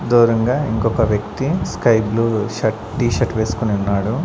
దూరంగా ఇంకొక వ్యక్తి sky blue shirt T shirt వేసుకొని ఉన్నాడు.